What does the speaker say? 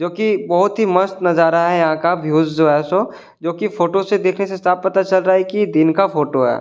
जोकि बहुत ही मस्त नजारा है यहां का व्यूज जो है सो कि फोटो से देखने से साफ पता चल रहा है कि दिन का फोटो है।